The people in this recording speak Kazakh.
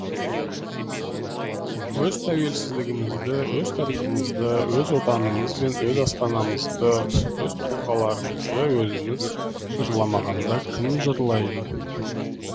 өз тәуелсіздігімізді өз тарихымызды өз отанымыз бен өз астанамызды өз тұлғаларымызды өзіміз жырламағанда кім жырлайды